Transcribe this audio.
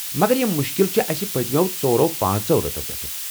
مگر یم مُشکل چھٗ اسہِ پتِمٮ۪و ژۄرو پانژو رٮ۪تو پٮ۪ٹھٕہٕ